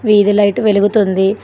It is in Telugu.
వీధిలైటు వెలుగుతుంది.